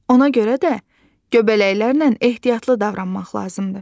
Ona görə də göbələklərlə ehtiyatlı davranmaq lazımdır.